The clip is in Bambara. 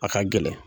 A ka gɛlɛn